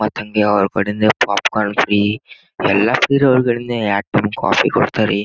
ಮತ್ ಹಂಗೆ ಅವ್ರ್ ಕಡೆಯಿಂದ ಪಾಪ್ಕಾರ್ನ್ ಫ್ರೀ ಎಲ್ಲ ಫ್ರೀ ಇರೋದ್ರಿಂದ ಯಾಕ ಕಾಫಿ ಕೊಡ್ತರ್ ರೀ --